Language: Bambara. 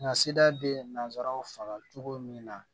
Nka sida bɛ nanzaraw faga cogo min na